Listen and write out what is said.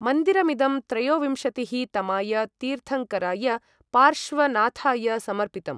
मन्दिरमिदं त्रयोविंशतिः तमाय तीर्थङ्कराय, पार्श्वनाथाय समर्पितम्।